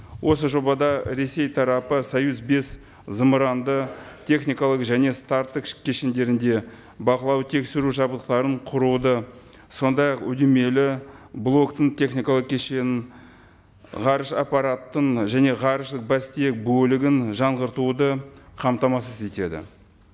осы жобада ресей тарапы союз бес зымыранды техникалық және старттық кешендерінде бақылау тексеру жабдықтарын құруды сондай ақ үйірмелі блоктың техникалық кешенін ғарыш аппаратын және ғарыштық бас тиек бөлігін жаңғыртуды қамтамасыз етеді